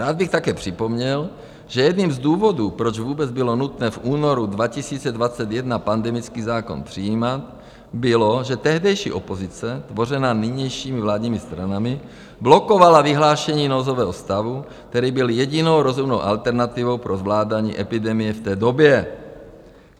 Rád bych také připomněl, že jedním z důvodů, proč vůbec bylo nutné v únoru 2021 pandemický zákon přijímat, bylo, že tehdejší opozice, tvořená nynějšími vládními stranami, blokovala vyhlášení nouzového stavu, který byl jedinou rozumnou alternativou pro zvládání epidemie v té době.